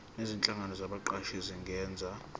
nezinhlangano zabaqashi zingenza